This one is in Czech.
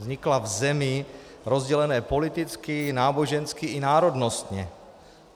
Vznikla v zemi rozdělené politicky, nábožensky i národnostně.